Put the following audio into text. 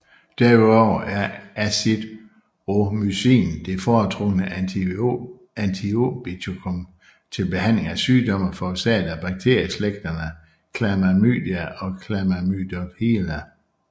Derudover er azithromycin det foretrukne antiobiotikum til behandling af sygdomme forårsaget af bakterieslægterne Chlamydia og Chlamydophila